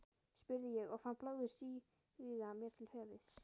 spurði ég og fann blóðið stíga mér til höfuðs.